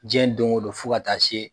Jiyɛn don o don fo ka taa se